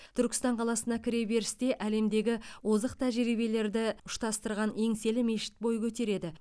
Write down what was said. түркістан қаласына кіреберісте әлемдегі озық тәжірибелерді ұштастырған еңселі мешіт бой көтереді